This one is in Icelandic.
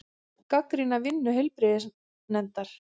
Gagnrýna vinnu heilbrigðisnefndar